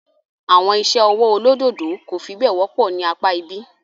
Àwọn iṣẹ́ ọwọ́ olódòdó kò fi bẹ́ẹ̀ wọ́pọ̀ ní apá ibí.